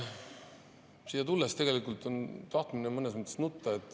Siia tulles oli mõnes mõttes tahtmine nutta.